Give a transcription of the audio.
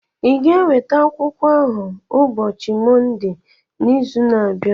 ị ga-eweta akwụkwọ ahụ ụbọchị Mọnde n'izu na-abịa?